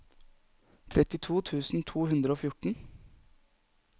trettito tusen to hundre og fjorten